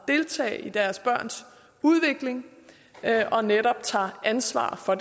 deltage i deres børns udvikling og netop tager ansvar for